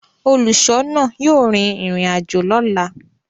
Óluṣọọna yóò rin irin ajo lọla.